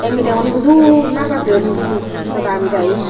mileguney hudu naja jeyon hijeni mogodabi dayi.